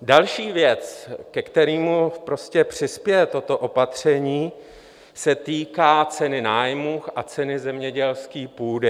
Další věc, ke kterému přispěje toto opatření, se týká ceny nájmů a ceny zemědělské půdy.